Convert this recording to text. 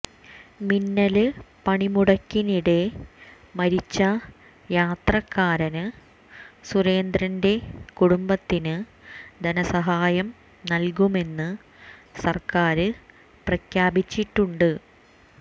മിന്നല് പണിമുടക്കിനിടെ മരിച്ച യാത്രക്കാരന് സുരേന്ദ്രന്റെ കുടുംബത്തിന് ധനസഹായം നല്കുമെന്ന് സര്ക്കാര് പ്രഖ്യാപിച്ചിട്ടുണ്ട്